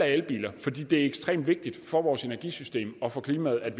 elbiler for det er ekstremt vigtigt for vores energisystem og for klimaet at